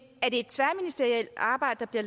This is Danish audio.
det